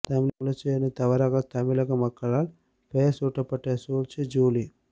தமிழச்சி என தவறாக தமிழக மக்களால் பெயர் சூட்டப்பட்ட சூழ்ச்சி ஜூலி